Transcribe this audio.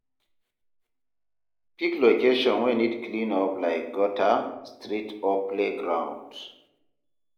Pick location wey need clean up like gutter, street or playground.